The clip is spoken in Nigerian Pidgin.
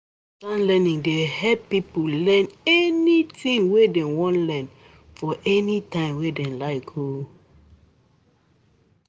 Distance learning dey help make people learn anything wey dem wan learn for any time wey dem like.